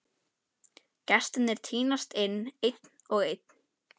Gestirnir tínast inn, einn og einn.